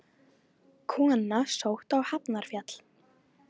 Kona sótt á Hafnarfjall